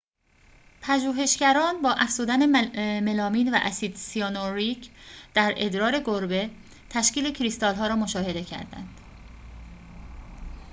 پژوهشگران با افزودن ملامین و اسید سیانوریک در ادرار گربه تشکیل کریستال‌ها را مشاهده کردند